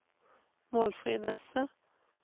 Målfrid Nesset